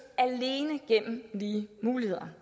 alene gennem lige muligheder